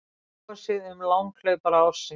Kosið um langhlaupara ársins